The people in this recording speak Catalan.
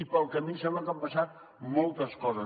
i pel camí em sembla que han passat moltes coses